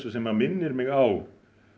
sem minnir á